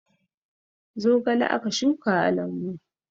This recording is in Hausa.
Zogale aka shuka a lambu